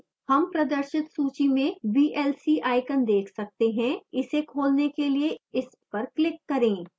हम प्रदर्शित सूची में vlc icon देख सकते हैं इसे खोलने के लिए इस पर क्लिक करें